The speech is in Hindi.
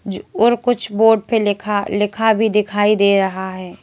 ज और कुछ बोर्ड पे लिखा लिखा भी दिखाई दे रहा है।